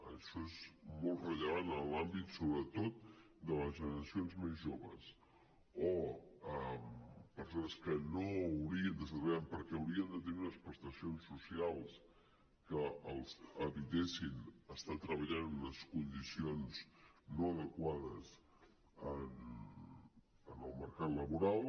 i això és molt rellevant en l’àmbit sobretot de les generacions més joves o en persones que no haurien d’estar treballant perquè haurien de tenir unes prestacions socials que els evitessin estar treballant en unes condicions no adequades en el mercat labora